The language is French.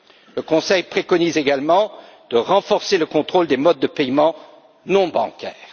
Le Conseil préconise également de renforcer le contrôle des modes de paiement non bancaires.